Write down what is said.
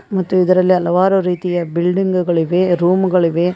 ಮತ್ತು ಇದರಲ್ಲಿ ಹಲವಾರು ರೀತಿಯ ಬಿಲ್ಡಿಂಗ್ಗಳಿವೆ ರೂಮ್ ಗಳಿವೆ.